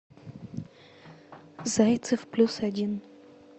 зайцев плюс один